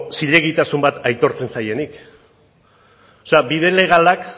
zilegitasun bat aitortzen zaienik bide legalak